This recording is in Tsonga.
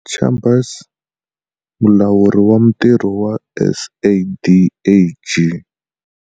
Chambers, Mulawuri wa Mitirho wa SADAG.